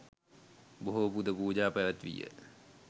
බොහෝ පුද පූජා පැවැත්වී ය.